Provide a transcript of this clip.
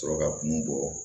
Sɔrɔ ka kun bɔ